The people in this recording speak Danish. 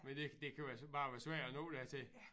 Men det det kan være bare være svært at nå dertil